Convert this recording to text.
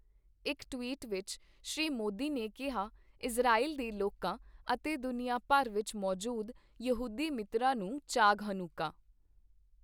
ਇੱਕ ਟਵੀਟ ਵਿੱਚ ਸ਼੍ਰੀ ਮੋਦੀ ਨੇ ਕੀਹਾ, ਇਜ਼ਰਾਈਲ ਦੇ ਲੋਕਾਂ ਅਤੇ ਦੁਨੀਆ ਭਰ ਵਿੱਚ ਮੌਜੂਦ ਯਹੂਦੀ ਮਿੱਤਰਾਂ ਨੂੰ ਚਾਗ ਹਨੁਕਾ।